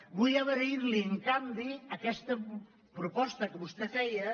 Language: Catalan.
vull agrair·li en canvi aquesta propos·ta que vostè feia